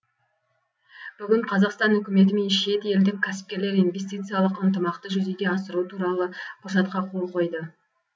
бүгін қазақстан үкіметі мен шет елдік кәсіпкерлер инвестициялық ынтымақты жүзеге асыру туралы құжатқа қол қойды